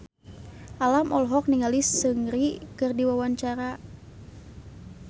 Alam olohok ningali Seungri keur diwawancara